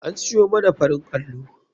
An siyo man farin allo.